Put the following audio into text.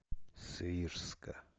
свирска